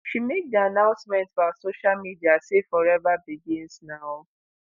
she make di announcement for her social media say "forever begins now"